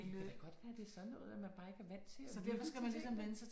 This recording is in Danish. Det kan da godt være det sådan noget at man bare ikke er vant til at lytte til ting